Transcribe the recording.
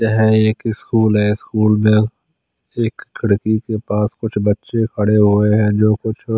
यह एक स्कूल है स्कूल में एक खिड़की के पास कुच्छ बचे खडे हुए है जो कुछ--